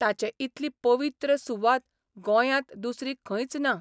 ताचे इतली पवित्र सुवात गोंयांत दुसरी खंयच ना.